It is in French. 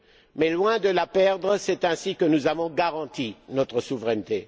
Mais loin de la perdre, c'est ainsi que nous avons garanti notre souveraineté.